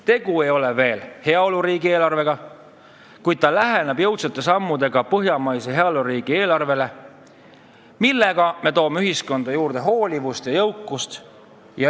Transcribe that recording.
Tegu ei ole veel heaoluriigi eelarvega, kuid me läheneme jõudsate sammudega põhjamaise heaoluriigi eelarvele, tuues ühiskonda juurde hoolivust ja jõukust.